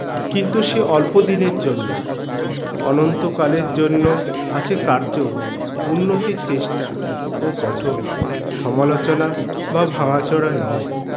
কিন্তু সে অল্প দিনের জন্য অনন্তকালের জন্য আছে কার্য উন্নতির চেষ্টা ও পঠন সমালোচনা বা ভাঙাচোরা নয়